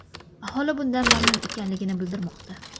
Aholi bundan mamnun ekanligini bildirmoqda.